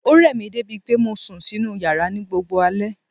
Ó rẹ̀ mi débi pé mo sùn sínu yàrá ní gbogbo alé.